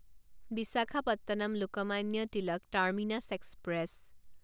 Visakhapatnam Lokmanya Tilak terminus express